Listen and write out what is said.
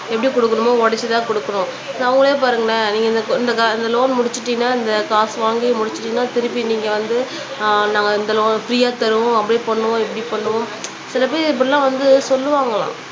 எப்படி கொடுக்கணுமோ உடைச்சுதான் கொடுக்கணும் சோ அவங்களையே பாருங்களேன் நீங்க இந்த இந்த லோன் முடிச்சிட்டீங்கன்னா இந்த காசு வாங்கி முடிச்சுட்டீங்கன்னா திருப்பி நீங்க வந்து ஆஹ் நாங்க இந்த லோன் பிரீயா தருவோம் அப்படி பண்ணுவோம் இப்படி பண்ணுவோம் சில பேர் இப்படி எல்லாம் வந்து சொல்லுவாங்களாம்